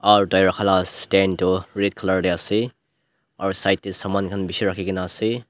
aru tai rakha la stand toh red colour te ase aru side te saman khan bishi rakhi kena ase.